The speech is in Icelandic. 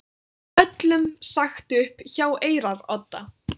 Öllum sagt upp hjá Eyrarodda